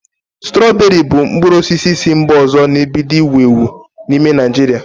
Strọberị bụ mkpụrụ osisi si mba ọzọ na-ebido iwu ewu n'ime Naịjirịa